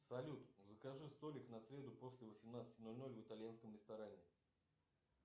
салют закажи столик на среду после восемнадцати ноль ноль в итальянском ресторане